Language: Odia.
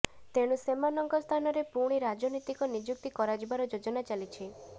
ତେଣୁ ସେମାନଙ୍କ ସ୍ଥାନରେ ପୁଣି ରାଜନୀତିକ ନିଯୁକ୍ତି କରାଯିବାର ଯୋଜନା ଚାଲିଛି